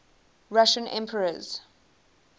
russian emperors